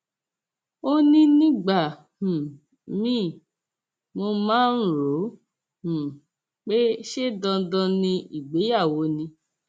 ó ní nígbà um míìn mo máa ń rò ó um pé ṣe dandan ni ìgbéyàwó ni